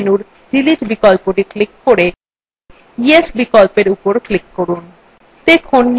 pop up menu delete বিকল্পটি এখন click করে yes বিকল্পর উপর click করুন